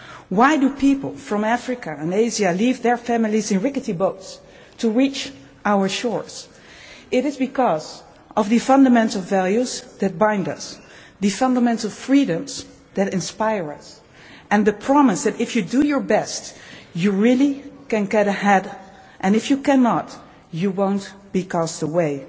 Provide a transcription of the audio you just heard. Why do people from Africa and Asia leave their families to reach our shores in rickety boats? It is because of the fundamental values that bind us, the fundamental freedoms that inspire us, and the promise that, if you do your best, you can really get ahead and, if you cannot, you will not be cast away.